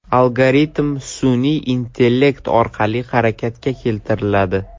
Algoritm sun’iy intellekt orqali harakatga keltiriladi.